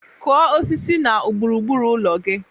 Kụọ osisi na gburu gburu ụlọ gị!